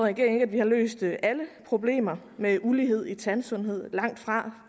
ikke at vi har løst alle problemer med ulighed i tandsundhed langtfra